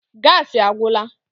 Gaasi agwụla